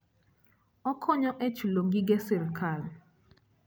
Okonyo e chulo gige sirkal.